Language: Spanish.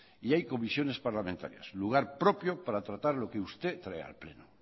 y hay comisiones parlamentarias lugar propio para tratar lo que usted trae al pleno